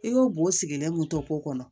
I ko bo sigilen kun to ko kɔnɔ